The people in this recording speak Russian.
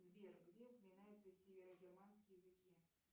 сбер где упоминаются северо германские языки